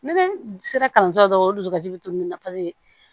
Ne sera kalanso la dɔrɔn o dusukasi bɛ to nin na paseke